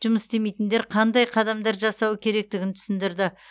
жұмыс істемейтіндер қандай қадамдар жасауы керектігін түсіндірді